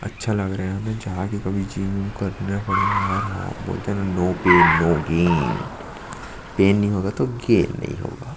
अच्छा लग रहा है यहां पे जाके कभी जिम विम करना पड़ेगा यार बोलते है न no pain no gain pain नहीं होगा तो गेन नहीं होगा ।